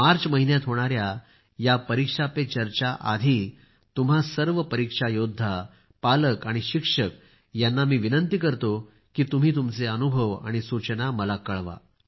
मार्च महिन्यात होणाऱ्या या परीक्षा पे चर्चा आधी तुम्हा सर्व परीक्षा योद्धा पालक आणि शिक्षक यांना मी विनंती करतो की तुम्ही तुमचे अनुभव आणि सूचना मला कळवा